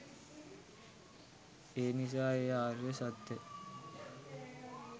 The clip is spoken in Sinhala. එනිසා ඒ ආර්ය සත්‍ය